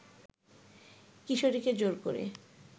কিশোরীকে জোর করে